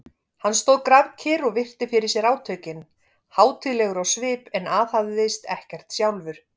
Hann stóð grafkyrr og virti fyrir sér átökin, hátíðlegur á svip en aðhafðist ekkert sjálfur.